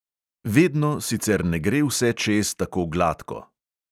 Vedno sicer ne gre vse čez tako gladko.